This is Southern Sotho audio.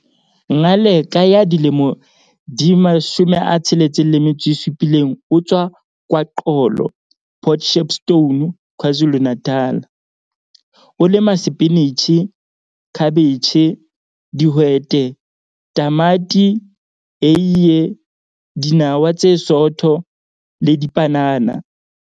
Ngaleka 67 o tswa KwaXolo, Port Shepstone, KwaZulu-Natal. O lema sepinitjhi, khabetjhe, dihwete, tamati, eie, dinawa tse sootho le dipanana.